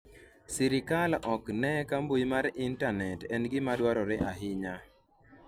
sirikal ok ne ka mbui mar intanet en gima dwarore ahinya